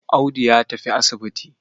Audu ya tafi asibiti.